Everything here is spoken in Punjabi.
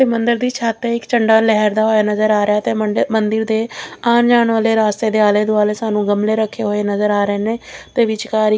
ਮੰਦਰ ਦੀ ਛੱਤ ਇੱਕ ਝੰਡਾ ਲਹਿਰਦਾ ਹੋਇਆ ਨਜ਼ਰ ਆ ਰਿਹਾ ਤੇ ਮੰਦਿਰ ਦੇ ਆਣ ਜਾਣ ਵਾਲੇ ਰਸਤੇ ਦੇ ਆਲੇ ਦੁਆਲੇ ਸਾਨੂੰ ਗਮਲੇ ਰੱਖੇ ਹੋਏ ਨਜ਼ਰ ਆ ਰਹੇ ਨੇ ਤੇ ਵਿਚਕਾਰ ਇਕ--